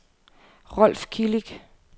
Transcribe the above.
Rolf Kilic